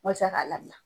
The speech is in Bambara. Walasa k'a labila